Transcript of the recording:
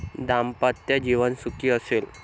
दाम्पत्य जीवन सुखी असेल.